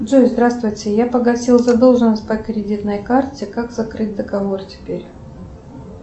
джой здравствуйте я погасила задолженность по кредитной карте как закрыть договор теперь